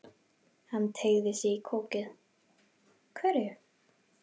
Hann teygði sig í kókið: Hverju?